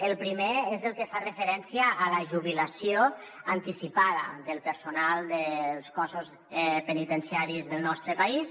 el primer és el que fa referència a la jubilació anticipada del personal dels cossos penitenciaris del nostre país